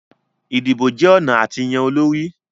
Idibo jẹ ọna a ti yan olori